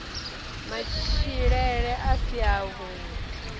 matshilele a si a vhui